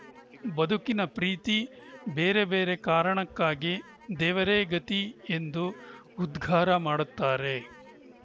ಬದುಕಿನ ಪ್ರೀತಿ ಬೇರೆ ಬೇರೆ ಕಾರಣಕ್ಕಾಗಿ ದೇವರೇ ಗತಿ ಎಂದು ಉದ್ಘಾರ ಮಾಡುತ್ತಾರೆ